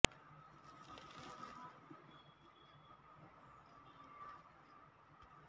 ಚಿರಾಗ್ ಪಾಸ್ವಾನ್ ಅವರು ತಮ್ಮ ತಂದೆಯ ಅಂತಿಮ ವಿಧಿಗಳನ್ನು ನೆರವೇರಿಸಿದ ನಂತರ ಪ್ರಧಾನಿ ನರೇಂದ್ರ ಮೋದಿಯವರಿಗೆ ಧನ್ಯವಾದ ಅರ್ಪಿಸಿದ್ದಾರೆ